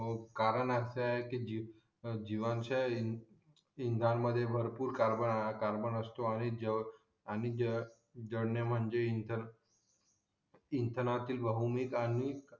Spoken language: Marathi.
कारण असं आहे कि जीवांच्या इंधान मध्ये भरपूर कार्बन वस्तू आहे आणि जडणे म्हणजे इंधन इंधनातील बहुनिक आणि